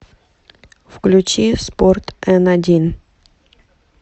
включи спорт н один